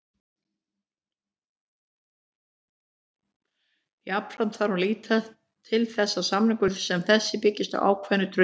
Jafnframt þarf að líta til þess að samningar sem þessir byggjast á ákveðnu trausti.